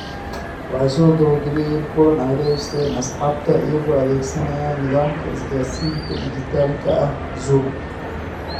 Waxay soo qabanqaabiyeen kulan ay la yeesheen asxaabta iyagoo adeegsanaya nidaamka isgaarsiinta dhijitaalka ah Zoom.